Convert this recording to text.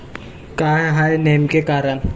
काय आहे नेमके कारण?